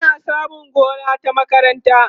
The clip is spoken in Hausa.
ana samun gona ta makaranta